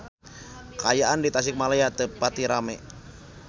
Kaayaan di Tasikmalaya teu pati rame